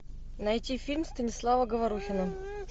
найти фильм станислава говорухина